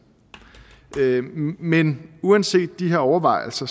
men uanset de overvejelser